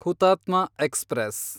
ಹುತಾತ್ಮ ಎಕ್ಸ್‌ಪ್ರೆಸ್